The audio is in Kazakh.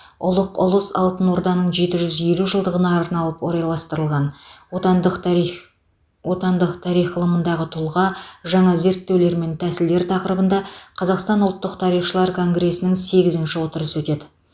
ұлық ұлыс алтын орданың жеті жүз елу жылдығына арналып орайластырылған отандық тарих отандық тарих ғылымындағы тұлға жаңа зерттеулер мен тәсілдер тақырыбында қазақстан ұлттық тарихшылар конгресінің сегізінші отырысы өтеді